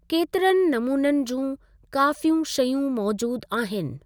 केतिरनि नमूननि जूं काॅफियूं शयूं मौजूद आहिनि?